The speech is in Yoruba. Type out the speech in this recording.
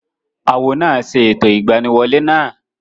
Awo náà ṣe ẹ̀tọ́ ìgbaniwolẹ́ náà